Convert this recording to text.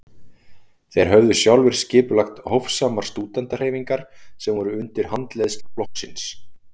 Þeir höfðu sjálfir skipulagt hófsamar stúdentahreyfingar sem voru undir handleiðslu flokksins.